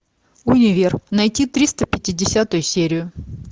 универ найти триста пятидесятую серию